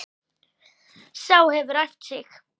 Sá hefur æft sig!